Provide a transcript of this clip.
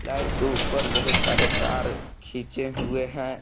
Light के ऊपर बहुत सारे तार खींचे हुए हैं।